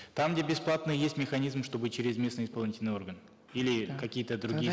там где бесплатно есть механизм чтобы через местные исполнительные органы или какие то другие